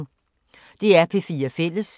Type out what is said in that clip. DR P4 Fælles